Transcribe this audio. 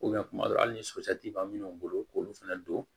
kuma dɔw la hali ni sotigi b'a minnu bolo k'olu fana don